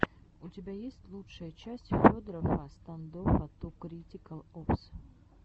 у тебя есть лучшая часть федорофффа стандоффа ту критикал опс